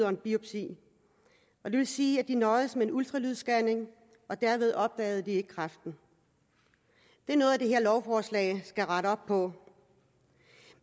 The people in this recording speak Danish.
og en biopsi det vil sige at de nøjedes med en ultralydsscanning og derved opdagede de ikke kræften det er noget det her lovforslag skal rette op på